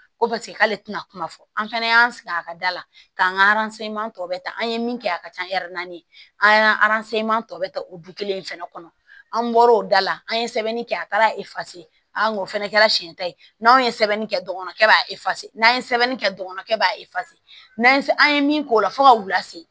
Ko paseke k'ale tɛna kuma fɔ an fana y'an sigi a ka da la k'an ka tɔ bɛ ta an ye min kɛ a ka ca an y'an tɔ bɛ ta o du kelen in fɛnɛ kɔnɔ an bɔra o da la an ye sɛbɛnni kɛ a taara an fana kɛra siɲɛ ta ye n'an ye sɛbɛnni kɛ dɔgɔnɔkɛ b'a n'an ye sɛbɛnni kɛ dɔgɔnɔnkɛ b'a n'an ye an ye min k'o la fo ka u lase